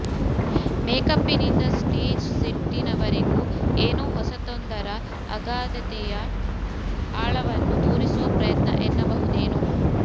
ಮೇಕಪ್ಪಿನಿಂದ stage ಸೆಟ್ಟಿನವರೆಗೂ ಏನೋ ಹೊಸತೊಂದರ ಅಗಾಧತೆಯ ಆಳವನ್ನು ತೋರಿಸುವ ಪ್ರಯತ್ನ ಎನ್ನಬಹುದೇನೋ